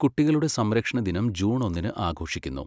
കുട്ടികളുടെ സംരക്ഷണ ദിനം ജൂൺ ഒന്നിന് ആഘോഷിക്കുന്നു.